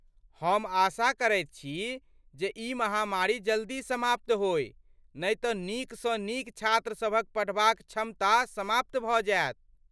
हम आशा करैत छी जे ई महामारी जल्दी समाप्त होय नहि तँ नीकसँ नीक छात्रसभक पढ़बाक क्षमता समाप्त भऽ जायत।